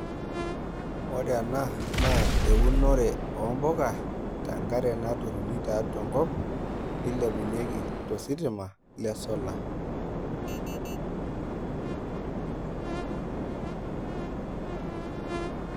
Ore ena na eunore ompuka tenkare naturuni tiatua enkop neilepunyeki tositima lesolar[break]